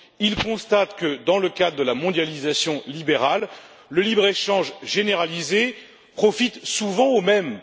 Ils constatent que, dans le cadre de la mondialisation libérale, le libre échange généralisé profite souvent aux mêmes.